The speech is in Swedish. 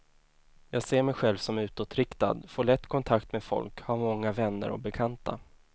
Jag ser mig själv som utåtriktad, får lätt kontakt med folk, har många vänner och bekanta.